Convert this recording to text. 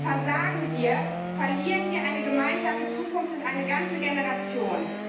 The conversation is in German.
Versagen wir, verlieren wir eine gemeinsame Zukunft und eine ganze Generation.